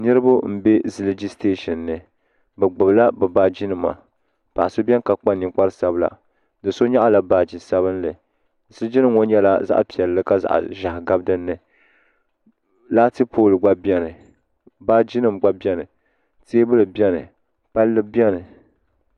niriba n bɛ zijligi sitɛshɛni b gbala be baaji nima paɣ' so bɛni ka kpa ninkparisabila do so nyɛla baa sabinli ziligi nɛm ŋɔ nyɛla zaɣ' piɛli ka zaɣ' ʒiɛhi gabi dini latipoli gba bɛni baaji nim gba bɛni tɛbuli bɛni pali bɛni